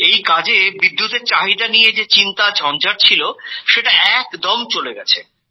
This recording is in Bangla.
এই কাজে বিদ্যুৎএর চাহিদা নিয়ে যে চিন্তা ঝঞ্জাট ছিল সেটা একদম চলে গেছে